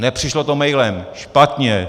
Nepřišlo to mailem. Špatně.